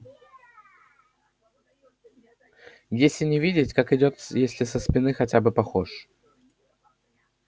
если не видеть как идёт если со спины хотя бы похож